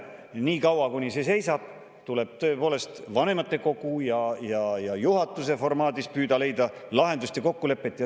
Niikaua, kuni see, tuleb tõepoolest vanematekogu ja juhatuse formaadis püüda leida lahendust ja kokkulepet.